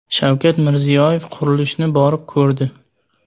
Shavkat Mirziyoyev qurilishni borib ko‘rdi.